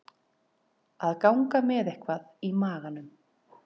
Að ganga með eitthvað í maganum